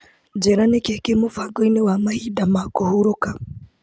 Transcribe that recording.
Njĩra nĩkĩĩ kĩ mũbango-inĩ wa mahinda ma kũhurũka.